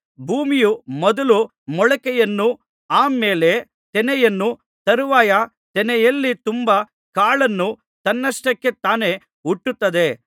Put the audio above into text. ಭೂಮಿಯು ಮೊದಲು ಮೊಳಕೆಯನ್ನೂ ಆ ಮೇಲೆ ತೆನೆಯನ್ನೂ ತರುವಾಯ ತೆನೆಯಲ್ಲಿ ತುಂಬಾ ಕಾಳನ್ನೂ ತನ್ನಷ್ಟಕ್ಕೆ ತಾನೇ ಹುಟ್ಟಿಸುತ್ತದೆ